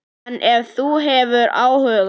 En ef þú hefur áhuga.